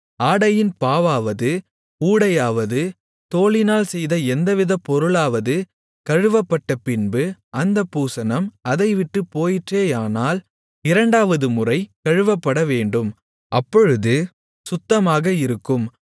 ஆடையின் பாவாவது ஊடையாவது தோலினால் செய்த எந்தவித பொருளாவது கழுவப்பட்டபின்பு அந்தப் பூசணம் அதை விட்டுப் போயிற்றேயானால் இரண்டாவதுமுறை கழுவப்படவேண்டும் அப்பொழுது சுத்தமாக இருக்கும்